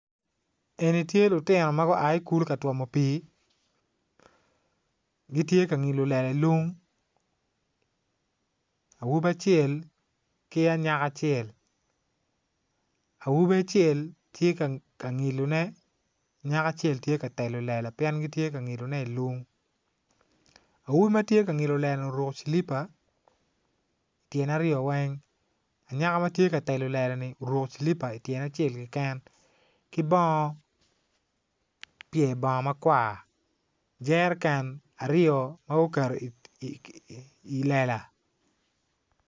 Eni tye lutino ma gua ikulu ka twomo pii gitye ka ngilo lela ilung awobi acel ki anyaka acel awobi acel tye ka ngilone anyaka acel tye ka telo lela pien gitye ka ngilone ilung awobi matye ka ngilo lela ni oruko cilipa ityene aryo weng awobi matye ka telo lelani oruko cilipa ityene acel keken ki bongo pye bongo makwar jereken aryo ma guketo i lela